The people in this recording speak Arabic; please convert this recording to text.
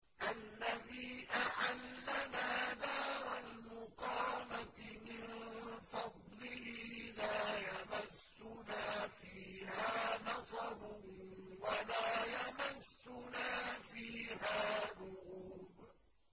الَّذِي أَحَلَّنَا دَارَ الْمُقَامَةِ مِن فَضْلِهِ لَا يَمَسُّنَا فِيهَا نَصَبٌ وَلَا يَمَسُّنَا فِيهَا لُغُوبٌ